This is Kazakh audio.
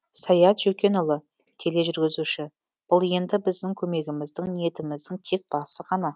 саят жөкенұлы тележүргізуші бұл енді біздің көмегіміздің ниетіміздің тек басы ғана